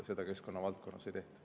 Seda keskkonna valdkonnas ei tehta.